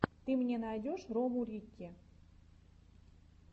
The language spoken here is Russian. ты мне найдешь рому рикки